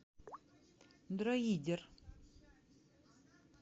дроидер